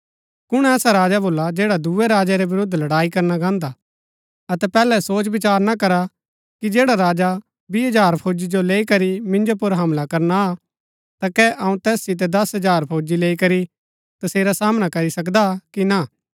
कुण ऐसा राजा भोला जैडा दुऐ राजै रै विरूद्ध लड़ाई करना गान्दा अतै पैहलै सोच विचार ना करा की जैडा राजा बीह हजार फौजी जो लैई करी मिन्जो पुर हमला करना आ ता कै अऊँ तैस सितै दस हजार फौजी लैई करी तसेरा सामना करी सकदा कि ना